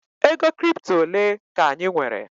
ego crypto ole ka anyị nwere?